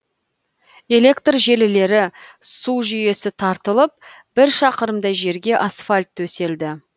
электр желілері су жүйесі тартылып бір шақырымдай жерге асфальт төселді